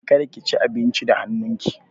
Kada ki ci abincin da hannun ki!